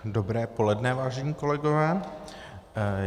Dobré poledne, vážení kolegové.